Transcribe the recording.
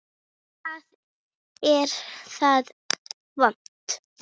Hvar er það vont?